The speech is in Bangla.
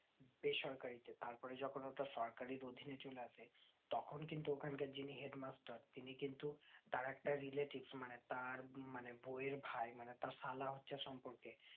বেসরকারিতে তার পরে যেকোন ওটা সরকারি অধীনে চলে আসে তখন কিন্তু ওখান কার যিনি headmaster তিনি কিন্তু তার একটা relative মানে তার বৌয়ের ভাই মানে তার সালা হচ্ছে সম্পর্কে